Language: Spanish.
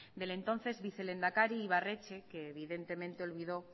del entonces vicelehendakari ibarretxe que evidentemente olvidó